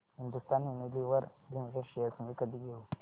Hindustan Unilever limited shares मी कधी घेऊ